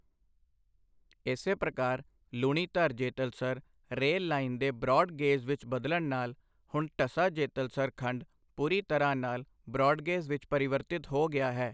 ਇਸੇ ਪ੍ਰਕਾਰ, Lunidhar Jetalsar rail line ਦੇ ਬ੍ਰੌਡ ਗੇਜ ਵਿੱਚ ਬਦਲਣ ਨਾਲ ਹੁਣ ਢਸਾ ਜੇਤਲਸਰ ਖੰਡ ਪੂਰੀ ਤਰ੍ਹਾਂ ਨਾਲ ਬ੍ਰੌਡਗੇਜ ਵਿੱਚ ਪਰਿਵਰਤਿਤ ਹੋ ਗਿਆ ਹੈ।